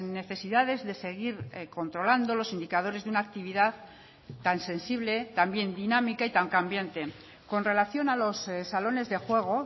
necesidades de seguir controlando los indicadores de una actividad tan sensible también dinámica y tan cambiante con relación a los salones de juego